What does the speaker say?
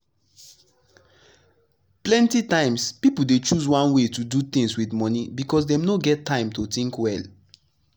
plenty times people dey choose one way to do things with money because dem no get time to think well.